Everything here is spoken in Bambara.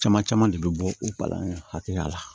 Caman caman de bɛ bɔ o balani hakɛya la